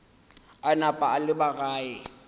a napa a leba gae